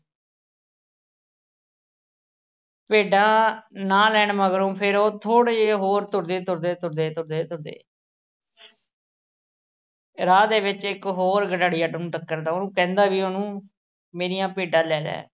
ਭੇਡਾਂ ਨਾ ਲੈਣ ਮਗਰੋਂ ਫਿਰ ਉਹ ਥੋੜ੍ਹੇ ਜੇ ਹੋਰ ਤੁਰਦੇ ਤੁਰਦੇ ਤੁਰਦੇ ਤੁਰਦੇ ਤੁਰਦੇ, ਰਾਹ ਦੇ ਵਿੱਚ ਇੱਕ ਹੋਰ ਗਡਰੀਆ ਉਹਨੂੰ ਟੱਕਰਦਾ। ਉਹ ਕਹਿੰਦਾ ਵੀ ਉਹਨੂੰ ਮੇਰੀਆਂ ਭੇਡਾਂ ਲੈ ਲੈ।